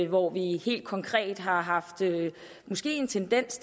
hvor vi helt konkret måske har haft en tendens